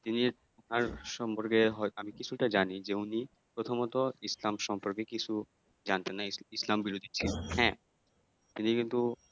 তিনি তার সম্পর্কে হয়তো আমি কিছুটা জানি যে উনি প্রথমত ইসলাম সম্পর্কে কিছু জানতেন না ইসলাম বিরোধী ছিলেন হ্যাঁ তিনি কিন্তু